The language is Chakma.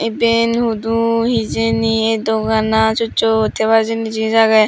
eben hudu hijeni ei doganan sot sot hebar jinis agey.